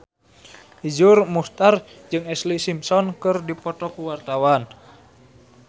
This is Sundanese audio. Iszur Muchtar jeung Ashlee Simpson keur dipoto ku wartawan